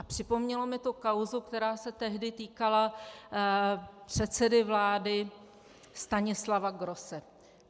A připomnělo mi to kauzu, která se tehdy týkala předsedy vlády Stanislava Grosse.